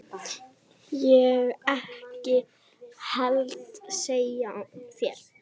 Ég ekki heldur sagði ég.